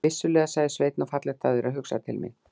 Vissulega, sagði Sveinn, og fallegt af þér að hugsa til mín.